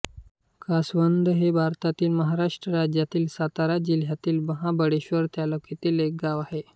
कासवंद हे भारतातील महाराष्ट्र राज्यातील सातारा जिल्ह्यातील महाबळेश्वर तालुक्यातील एक गाव आहे